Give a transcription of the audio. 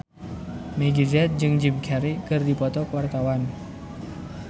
Meggie Z jeung Jim Carey keur dipoto ku wartawan